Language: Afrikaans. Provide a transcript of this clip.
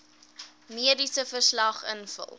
mediese verslag invul